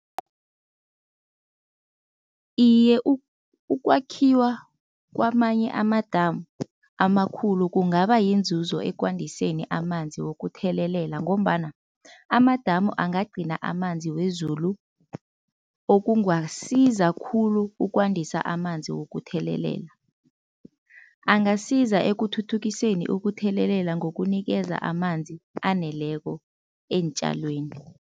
Iye ukwakhiwa kwamanye amadamu amakhulu kungaba yinzuzo ekwandiseni amanzi wokuthelelela ngombana amadamu angagcina amanzi wezulu okungasiza khulu ukwandisa amanzi wokuthelelela. Angasiza ekuthuthukiseni ukuthelelela ngokunikeza amanzi aneleko eentjalweni.